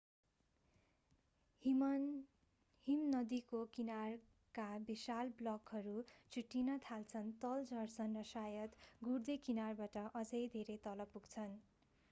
हिमनदीको किनारका विशाल ब्लकहरू छुट्टिन थाल्छन् तल झर्छन् र सायद गुड्दै किनारबाट अझै धेरै तल पुग्छन्